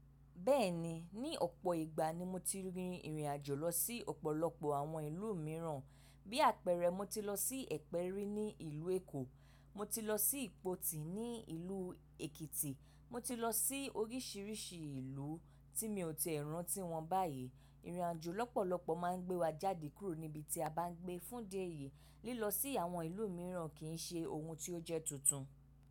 Bẹ́ẹ̀ni, ní ọ̀pọ̀ ìgbà ni mo ti rin ìrìn àjò lọ sí ọ̀pọ̀lọpọ̀ àwọn ìlú mìíràn. Bí àpẹẹrẹ, mo ti lọ sí Ẹ̀pẹ́ rí ní ìlú Èkó, mo ti lọ sí Ìpoti ní ìlú Èkìtì, mo ti lọ sí oríṣìíríṣìí ìlú tí mi ò tíì rántí wọn báyìí. Ìrìn àjò lọ́pọ̀lọpọ̀ máa ń gbé wa jáde kúrò níbi tí a bá ń gbé fún di eyìí. Lílọ sí àwọn ìlú mìíràn kì í ṣe ohun tí ó jẹ́ tuntun.